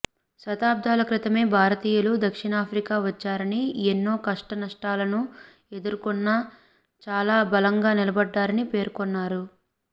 శతాబ్దాల క్రితమే భారతీయలు దక్షిణాఫ్రికా వచ్చారని ఎన్నో కష్టనష్టాలను ఎదుర్కొన్నా చాలా బలంగా నిలబడ్డారని పేర్కొన్నారు